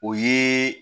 O ye